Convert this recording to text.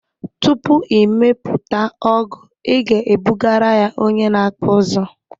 Tupu ị mepụta ọgụ ị ga ebugara ya onye na akpụ ụzụ